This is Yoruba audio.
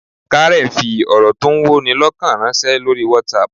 Karen fi ọ̀rọ̀ tó ń wọni lọ́kàn ránṣẹ́ lórí WhatsApp